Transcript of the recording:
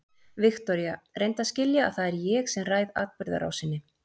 Viktoría, reyndu að skilja að það er ég sem ræð atburðarásinni.